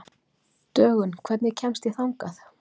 Dögun, hvernig kemst ég þangað?